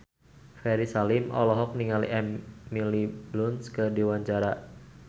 Ferry Salim olohok ningali Emily Blunt keur diwawancara